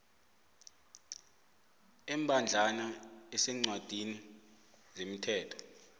embadlwana eseencwadini zemithetho